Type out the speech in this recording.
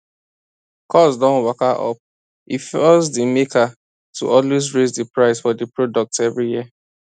cost don waka up e force di maker to always raise di price for di products every year